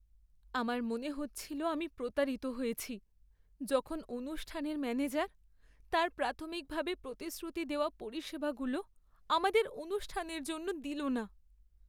আমার মনে হচ্ছিল আমি প্রতারিত হয়েছি যখন অনুষ্ঠানের ম্যানেজার তাঁর প্রাথমিকভাবে প্রতিশ্রুতি দেওয়া পরিষেবাগুলো আমাদের অনুষ্ঠানের জন্য দিল না।